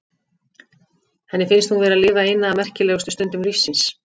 Henni finnst hún vera að lifa eina af merkilegustu stundum lífs síns.